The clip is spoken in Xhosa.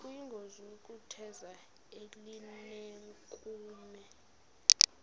kuyingozi ukutheza elinenkume